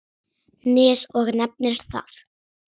Nes og nefnir það.